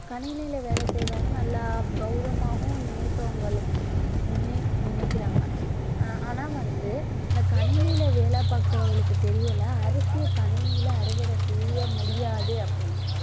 கணினில வேலை செய்றவன நல்லா கவுரவமாவும் நினைப்பவங்களு~ நினை~ நினைக்கிறாங்க ஆனா வந்து இந்த கணினியில வேலை பாக்குறவங்களுக்கு தெரியல அரிசியை கணினியில அறுவடை செய்ய முடியாது அப்படின்னு